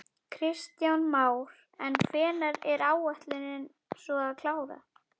Kristján Már: En hvenær er ætlunin svo að klára?